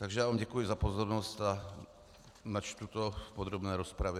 Takže já vám děkuji za pozornost a načtu to v podrobné rozpravě.